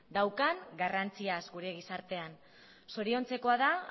daukan garrantziaz gure gizartean zoriontzekoa da